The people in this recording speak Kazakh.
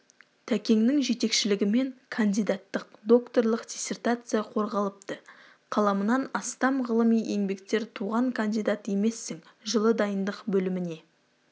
тәкеңнің жетекшілігімен кандидаттық докторлық диссертация қорғалыпты қаламынан астам ғылыми еңбектер туған кандидат емессің жылы дайындық бөліміне